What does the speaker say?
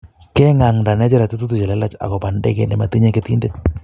Keng'aanta Nigeria tetuutik chelelach akobo ndekeit nematinye ketindet